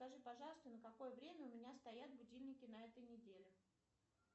скажи пожалуйста на какое время у меня стоят будильники на этой неделе